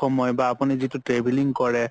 সময় বা আপুনি যিতো traveling কৰে